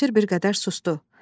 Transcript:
Cavanşir bir qədər susdu.